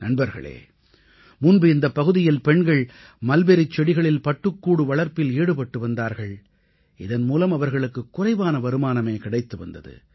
நண்பர்களே முன்பு இந்தப் பகுதியில் பெண்கள் மல்பெரிச் செடிகளில் பட்டுக்கூடு வளர்ப்பில் ஈடுபட்டு வந்தார்கள் இதன்மூலம் அவர்களுக்கு குறைவான வருமானமே கிடைத்து வந்தது